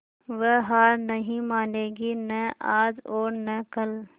वह हार नहीं मानेगी न आज और न कल